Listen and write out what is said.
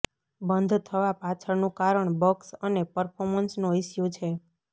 બંધ થવા પાછળનું કારણ બગ્સ અને પર્ફોમન્સનો ઈસ્યું છે